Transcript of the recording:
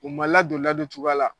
U ma ladon ladon cogoya la